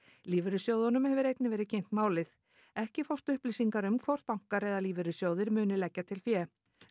lífeyrissjóðunum hefur einnig verið kynnt málið ekki fást upplýsingar um hvort bankar eða lífeyrissjóðir muni leggja til fé